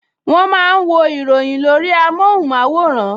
Wọ́n máa ń wo ìròyìn lórí amóhùnmáwòrán